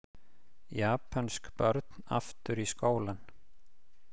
Japönsk börn aftur í skólann